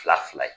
Fila fila ye